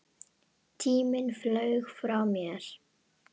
Tíminn flaug frá mér.